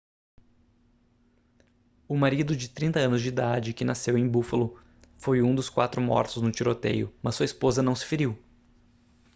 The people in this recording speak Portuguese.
o marido de 30 anos de idade que nasceu em buffalo foi um dos quatro mortos no tiroteio mas sua esposa não se feriu